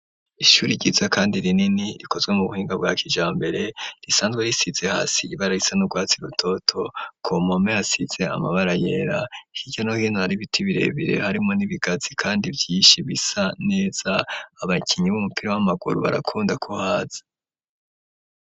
Ishuri ryiza kandi rinini rikozwe mu buhinga bwa kijambere risanzwe risize hasi ibara risa n'urwatsi rutoto ku mpome hasize amabara yera hirya no hino hari ibiti birebire harimwo n'ibigazi kandi vyishi bisa neza abakinyi b'umupira w'amaguru barakunda ku haza.